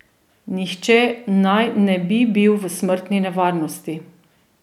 Nihče naj ne bi bil v smrtni nevarnosti.